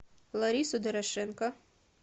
ларису дорошенко